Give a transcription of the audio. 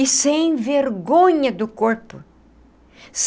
E sem vergonha do corpo.